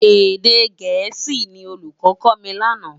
Édé gèési ni ólúkò kò mi làná